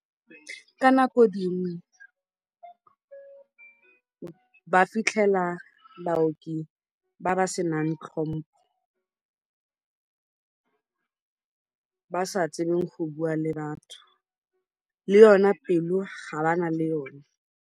Ka nako dingwe ba fitlhela baoki ba ba senang tlhompo ba ba sa itseng go bua le batho, le yona pelo ga ba na le yona.